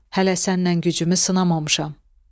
Hələ səndən gücümü sınamamışam.